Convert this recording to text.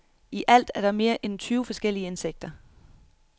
I alt er der mere end tyve forskellige insekter.